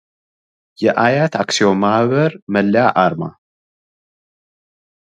የአያት አክሲዮን ማህበር መለያ አርማ